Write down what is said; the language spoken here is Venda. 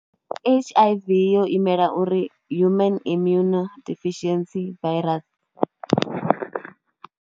H_I_V yo imela uri Human Immune Deficiency Virus.